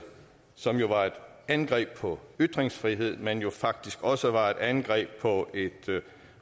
som var et angreb på ytringsfriheden men jo faktisk også var et angreb på et